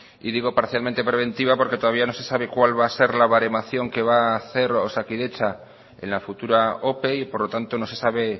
y digo parcialmente preventiva porque todavía no se sabe cuál va a ser la baremación que va hacer osakidetza en la futura ope y por lo tanto no se sabe